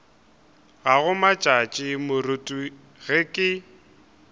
gago matšatši moruti ge ke